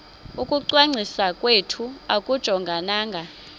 ukungcwaliswa kwethu akujongananga